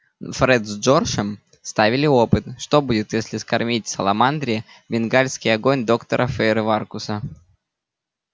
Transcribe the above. фред с джорджем ставили опыт что будет если скормить саламандре бенгальский огонь доктора фейерверкуса